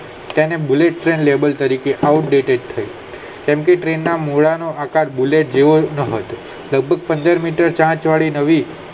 પણ bullet train તરીકે outdated થઈ સબંધી ટ્રેન ના મૂળા ના આકાર બુલેટ જેવો લભગક પંદર મીટર ચાંચ વાળી નવી